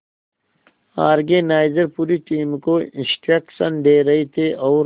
organiser पूरी team को instruction दे रहे थे और